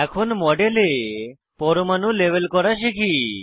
এখন মডেলে পরমাণু লেবেল করা শিখি